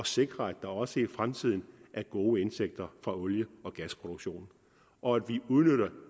sikre at der også i fremtiden er gode indtægter fra olie og gasproduktionen og at vi udnytter